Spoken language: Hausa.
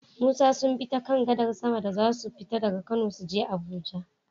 Musa sunbi ta kan gadar sama da zasu fita daka kano suje abuja